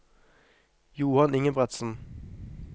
Johan Ingebretsen